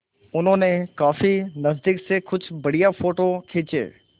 उन्होंने काफी नज़दीक से कुछ बढ़िया फ़ोटो खींचे